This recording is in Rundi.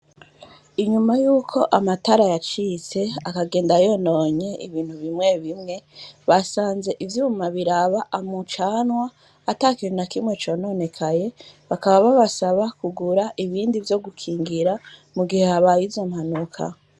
Inyuma yuko amatara yacitse akagenda yononye ibintu bimwe bimwe basanze ivyuma biraba umucanwa atakintu nakimwe cononekaye bakaba babasaba kugura ibindi vyo gukingira mu gihe habaye izo mpanuka.